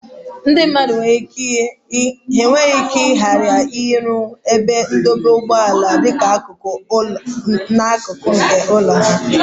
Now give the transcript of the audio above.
Ndị mmadụ nwere ike ghara ịrụ ebe ndọba ụgbọala dịka akụkụ nke ụlọ ha.